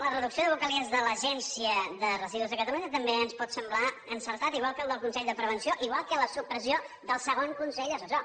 la reducció de vocalies de l’agència de residus de catalunya també ens pot semblar encertada igual que la del consell de prevenció igual que la supressió del segon consell assessor